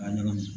A ɲagami